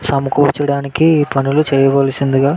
సమకూర్చడానికి పనులు చేయవలిసిందిగా --